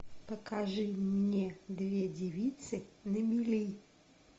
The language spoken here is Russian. покажи мне две девицы на мели